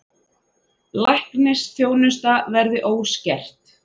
Læknisþjónusta verði óskert